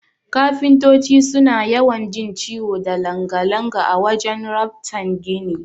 Kafintoti suna yawan jin ciwo da langa-langa a wajan raftan gini.